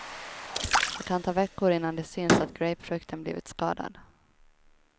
Det kan ta veckor innan det syns att grapefrukten blivit skadad.